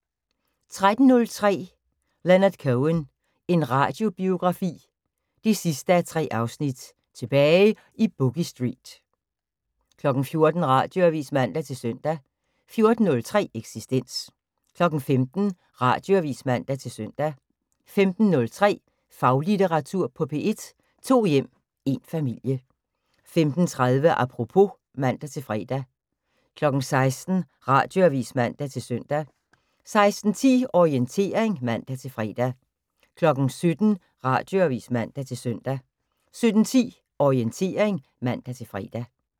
13:03: Leonard Cohen – en radiobiografi 3:3: Tilbage i Boogie Street 14:00: Radioavis (man-søn) 14:03: Eksistens 15:00: Radioavis (man-søn) 15:03: Faglitteratur på P1: To hjem – én familie 15:30: Apropos (man-fre) 16:00: Radioavis (man-søn) 16:10: Orientering (man-fre) 17:00: Radioavis (man-søn) 17:10: Orientering (man-fre)